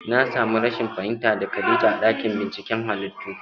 Na samu rashin fahimta da khadija a ɗakin binciken halittu